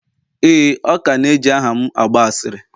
ee, ọ ka na eji aha'm agba asịrị.